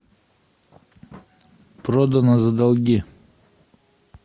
продано за долги